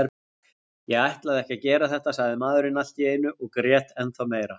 Ég ætlaði ekki að gera þetta, sagði maðurinn allt í einu og grét ennþá meira.